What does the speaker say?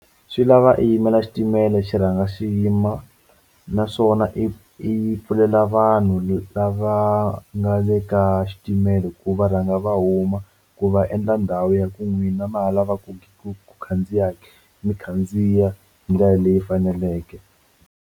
Xi lava i yimela xitimela xi rhanga xi yima naswona i pfulela vanhu lava nga le ka xitimela ku va rhanga va huma ku va endla ndhawu ya ku n'wina ma lavaku ku khandziya mi khandziya hi ndlela leyi faneleke.